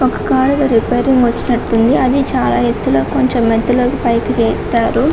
ఒక కారు ఏదో రిపేరింగ్ కి వచ్చినట్లు ఉంది అది చాలా ఎత్తులో కొంచెం ఎత్తులోకి పైకి ఎత్తారు .